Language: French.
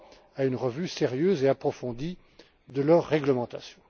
à une révision sérieuse et approfondie de leur réglementation.